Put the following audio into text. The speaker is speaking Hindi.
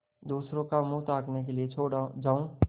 दूसरों का मुँह ताकने के लिए छोड़ जाऊँ